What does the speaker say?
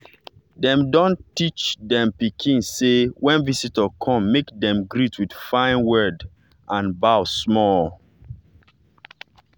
dey don teach dem pikin say when visitor come make dem greet with fine word and bow small.